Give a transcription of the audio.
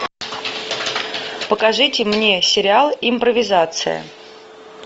покажите мне сериал импровизация